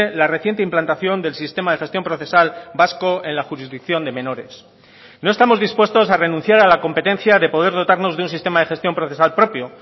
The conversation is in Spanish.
la reciente implantación del sistema de gestión procesal vasco en la jurisdicción de menores no estamos dispuestos a renunciar a la competencia de poder dotarnos de un sistema de gestión procesal propio